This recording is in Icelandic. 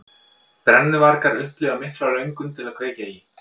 Brennuvargar upplifa mikla löngun til að kveikja í.